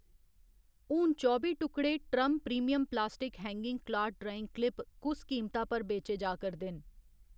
हून चौबी टुकड़े ट्रम premium plastic hanging cloth drying clip कुस कीमता पर बेचे जा करदे न ?